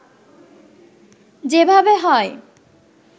যেভাবে হয়